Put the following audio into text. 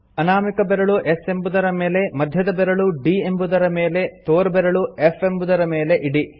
ಅನಾಮಿಕ ಬೆರಳು S ಎಂಬುದರ ಮೇಲೆ ಮಧ್ಯದ ಬೆರಳು D ಎಂಬುದರ ಮೇಲೆ ತೋರ್ಬೆರಳು F ಎಂಬುದರ ಮೇಲೆ ಇಡಿ